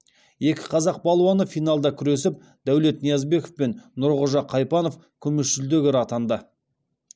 екі қазақ балуаны финалда күресіп дәулет ниязбеков пен нұрғожа қайпанов күміс жүлдегер атанды